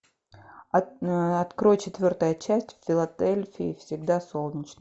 открой четвертая часть в филадельфии всегда солнечно